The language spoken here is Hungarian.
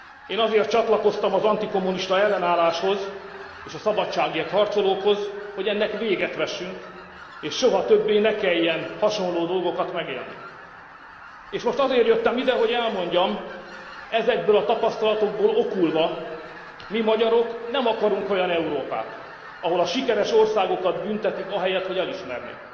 Én azért csatlakoztam az antikommunista ellenálláshoz és a szabadságért harcolókhoz, hogy ennek véget vessünk, és soha többé ne kelljen hasonló dolgokat megélnünk, és most azért jöttem ide, hogy elmondjam, ezekből a tapasztalatokból okulva mi magyarok nem akarunk olyan Európát, ahol a sikeres országokat büntetik ahelyett, hogy elismernék!